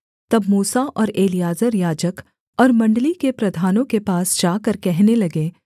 तब मूसा और एलीआजर याजक और मण्डली के प्रधानों के पास जाकर कहने लगे